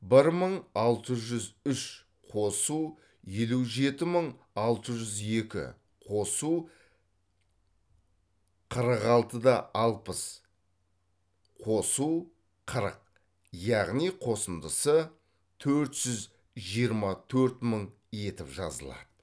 бір мың алты жүз үш қосу елу жеті мың алты жүз екі қосу қырық алты да алпыс қосу қырық яғни қосындысы төрт жүз жиырма төрт мың етіп жазылады